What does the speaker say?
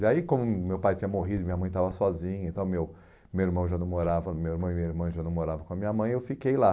E aí, como meu pai tinha morrido e minha mãe estava sozinha, então meu meu irmão já não morava, meu irmão e minha irmã já não moravam com a minha mãe, eu fiquei lá.